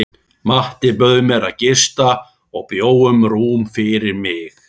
Matti bauð mér að gista og bjó um rúm fyrir mig.